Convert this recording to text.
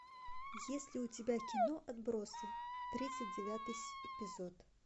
есть ли у тебя кино отбросы тридцать девятый эпизод